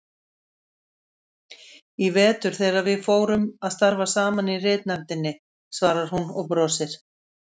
Í vetur þegar við fórum að starfa saman í ritnefndinni, svarar hún og brosir.